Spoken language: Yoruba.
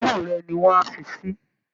Imú rẹ ni wọ́n á fi sí